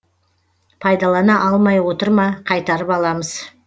пайдалана алмай отыр ма қайтарып аламыз